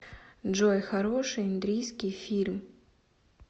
джой хороший индрийский фильм